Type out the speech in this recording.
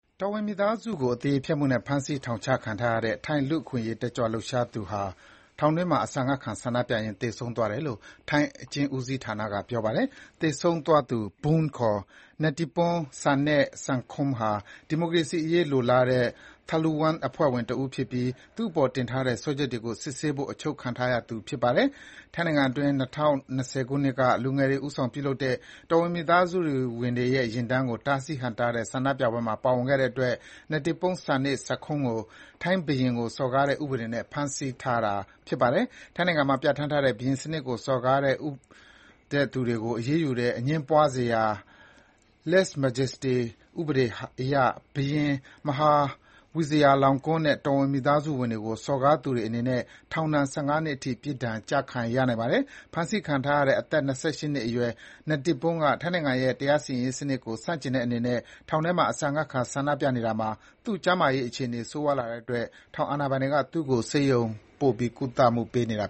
တော်ဝင်မိသားစုကို အသရေဖျက်မှုနဲ့ ဖမ်းဆီး ထောင်ချခံထားရတဲ့ ထိုင်း လူ့အခွင့်အရေးတက်ကြွလှုပ်ရှားသူဟာ ထောင်တွင်းမှာ အစာငတ်ခံ ဆန္ဒပြရင်း သေဆုံးသွားတယ်လို့ ထိုင်းအကျဉ်းဦးစီးဌာနက ပြောပါတယ်။ သေဆုံးသွားသူ “Boong” ခေါ် Netiporn Sanae-sangkhom ဟာ ဒီမိုကရေစီအရေး လိုလားတဲ့ “Thaluwang” အဖွဲ့ဝင် တဦးဖြစ်ပြီး သူ့အပေါ်တင်ထားတဲ့ စွဲချက်တွေကို စစ်ဆေးဖို့ အချုပ်ချခံထားရသူ ဖြစ်ပါတယ်။ ထိုင်းနိုင်ငံအတွင်း ၂၀၂၀ ပြည့်နှစ်က လူငယ်တွေဦးဆောင်ပြုလုပ်တဲ့ တော်ဝင်မိသားစုဝင်တွေရဲ့ ယာဉ်တန်းကို တားဆီး ဟန့်တားတဲ့ ဆန္ဒပြပွဲမှာ ပါဝင်ခဲ့တဲ့အတွက် Netiporn Sanae-sangkhom ကို ဘုရင်စံနစ်ကို စော်ကားတဲ့ ဥပဒေနဲ့ ဖမ်းဆီးထားတာပါ။ ထိုင်းနိုင်ငံမှာ ပြဋ္ဌာန်းထားတဲ့ ဘုရင်စနစ်ကိုစော်ကားတဲ့သူတွေကို အရေးယူတဲ့ အငြင်းပွားစရာ ဥပဒေအရ ဘုရင် Maha Vajiralongkorn နဲ့ တော်ဝင်မိသားစုဝင်တွေကို စော်ကားသူတွေအနေနဲ့ အမြင့်ဆုံး ထောင်ဒဏ် ၁၅ နှစ်အထိ ပြစ်ဒဏ် ကျခံရနိုင်ပါတယ်။ ဖမ်းဆီးခံထားရတဲ့ အသက် ၂၈ နှစ်အရွယ် Netiporn Sanae-sangkhom က ထိုင်းနိုင်ငံရဲ့ တရားစီရင်ရေးစနစ်ကို ဆန့်ကျင်တဲ့အနေနဲ့ ထောင်ထဲမှာ အစာငတ်ခံ ဆန္ဒပြနေတာမှာ သူ့ကျန်းမာရေးအခြေအနေ ဆိုးရွားလာတဲ့အတွက် ထောင်အာဏာပိုင်တွေက သူ့ကို ဆေးရုံပို့ ကုသမှုပေးနေခဲ့တာ